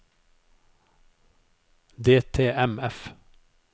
DTMF